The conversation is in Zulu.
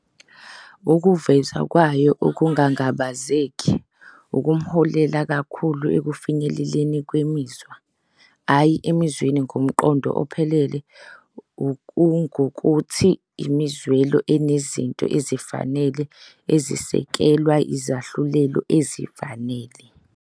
Ukuveza kwayo okungangabazeki kungamholela kakhulu ekufinyeleleni kwemizwa, hhayi emizweni ngomqondo ophelele, okungukuthi, imizwelo enezinto ezifanele ezisekelwa izahlulelo ezifanele.